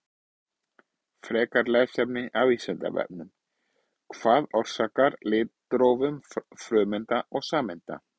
Frekara lesefni af Vísindavefnum: Hvað orsakar litróf frumeinda og sameinda?